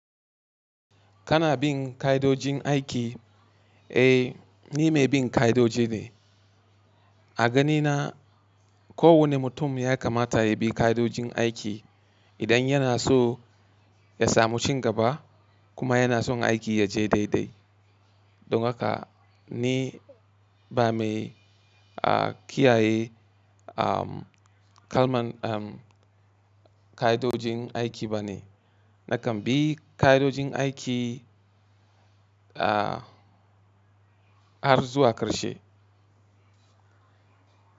Kana bin ka'idojin aiki? Eh, ni mai bin ka'idoji ne. A gani na, kowanne mutum ya kamata ya bi ƙa'idojin aiki. Idan yana so ya samu cin gaba kuma yana son aiki ya je dai dai. Don haka ni ba mai kiyaye kalman ƙa'idojin aiki ba ne. Nakan bi ƙa'idojin aiki har zuwa ƙarshe.